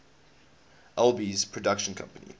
alby's production company